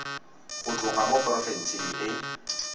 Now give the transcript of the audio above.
go tloga mo porofenseng e